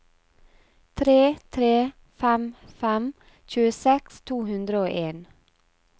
tre tre fem fem tjueseks to hundre og en